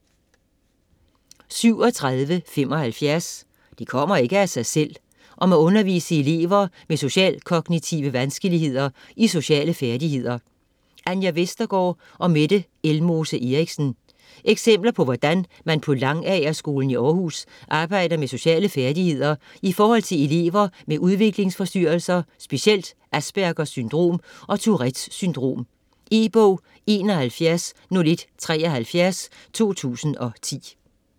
37.75 Det kommer ikke af sig selv: om at undervise elever med socialkognitive vanskeligheder i sociale færdigheder Anja Vestergaard & Mette Elmose Eriksen Eksempler på hvordan man på Langagerskolen i Århus arbejder med sociale færdigheder i forhold til elever med udviklingsforstyrrelser, specielt Aspergers syndrom og Tourettes syndrom. E-bog 710173 2010.